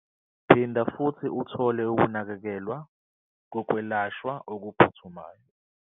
Phinda futhi uthole ukunakekelwa kokwelashwa okuphuthumayo